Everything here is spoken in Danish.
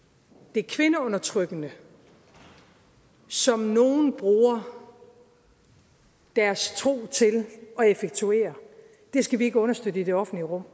det kvindeundertrykkende som nogle bruger deres tro til at effektuere skal vi ikke understøtte i det offentlige rum